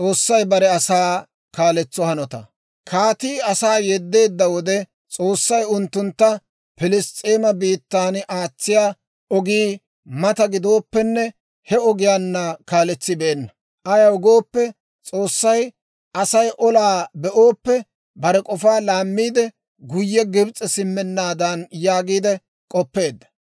Kaatii asaa yeddeedda wode, S'oossay unttuntta Piliss's'eema biittaana aatsiyaa ogii mata gidooppenne he ogiyaanna kaaletsibeenna; ayaw gooppe, S'oossay, «Aasi olaa be'ooppe, bare k'ofaa laammiide, guyye Gibs'e simmenaadan» yaagiide k'oppeedda.